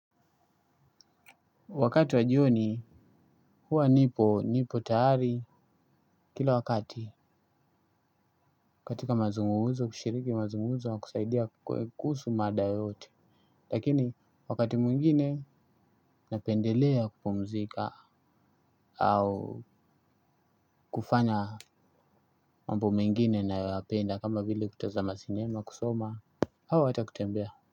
Wakati wa jioni, huwa nipo, nipo tayari, kila wakati, katika mazungumzo, kushiriki mazungumzo, kusaidia kuhusu mada yote, lakini wakati mwingine, napendelea kupumzika, au kufanya mambo mengine nayoyqpenda, kama vile kutaza masinema, kusoma, hawa hata kutembea.